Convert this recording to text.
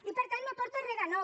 i per tant no aporta re de nou